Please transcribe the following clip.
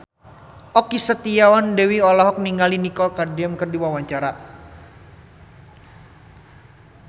Okky Setiana Dewi olohok ningali Nicole Kidman keur diwawancara